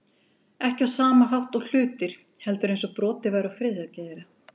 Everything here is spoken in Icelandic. Ekki á sama hátt og hlutir, heldur eins og brotið væri á friðhelgi þeirra.